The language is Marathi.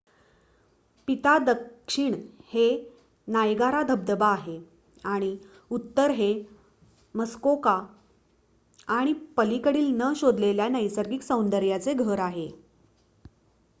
पिता दक्षिण हे नायगारा धबधबा आहे आणि उत्तर हे मस्कोका आणि पलीकडील न शोधलेल्या नैसर्गिक सौंदर्याचे घर आहे